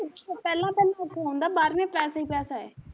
ਉ ਪਹਿਲਾਂ ਪਹਿਲਾਂ ਔਖਾ ਹੁੰਦਾ ਬਾਅਦ ਮੇ ਪੈਸਾ ਈ ਪੈਸਾ ਐ,